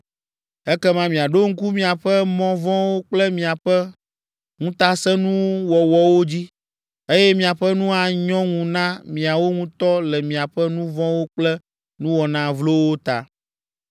Ekema miaɖo ŋku miaƒe mɔ vɔ̃wo kple miaƒe ŋutasẽnuwɔwɔwo dzi, eye miaƒe nu anyɔ ŋu na miawo ŋutɔ le miaƒe nu vɔ̃wo kple nuwɔna vlowo ta.